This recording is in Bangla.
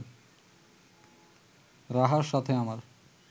রাহার সাথে আমার